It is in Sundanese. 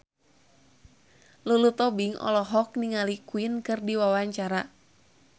Lulu Tobing olohok ningali Queen keur diwawancara